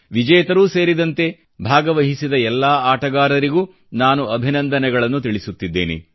ವಿಜೇತರೂ ಸೇರಿದಂತೆ ಭಾಗವಹಿಸಿದ ಎಲ್ಲಾ ಆಟಗಾರರಿಗೂ ನಾನು ಅಭಿನಂದನೆಗಳನ್ನು ತಿಳಿಸುತ್ತಿದ್ದೇನೆ